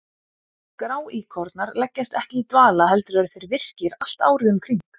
Gráíkornar leggjast ekki í dvala heldur eru þeir virkir allt árið um kring.